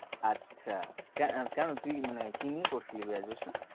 আচ্ছা কেন~ কেনো তুই মানে কি নিয়ে পড়ছিলি graduation?